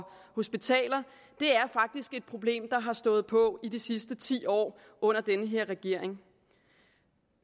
hospitaler faktisk er et problem der har stået på i de sidste ti år under denne regering